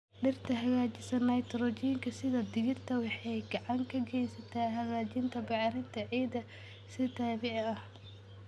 Dhirta hagaajisa Nitrojiinka, sida digirta, waxay gacan ka geysataa hagaajinta bacrinta ciidda si dabiici ah.